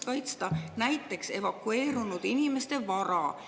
Kuidas kaitsta näiteks evakueerunud inimeste vara?